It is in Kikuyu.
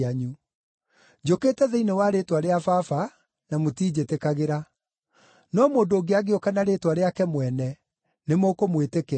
Njũkĩte thĩinĩ wa rĩĩtwa rĩa Baba na mũtinjĩtĩkagĩra; no mũndũ ũngĩ angĩũka na rĩĩtwa rĩake mwene, nĩmũkũmwĩtĩkĩra.